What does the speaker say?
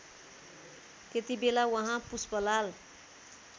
त्यतिबेला उहाँ पुष्पलाल